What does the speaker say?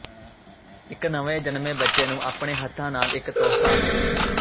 ਇੱਕ ਨਵੇਂ ਜਨਮੇ ਬੱਚੇ ਨੂੰ ਆਪਣੇ ਹੱਥਾਂ ਨਾਲ ਇੱਕ ਤੋਹਫ਼ਾ